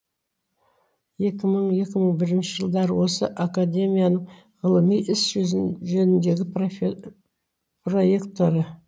екі мың екі мың бірінші жылдары осы академияның ғылыми ісі жөніндегі проректоры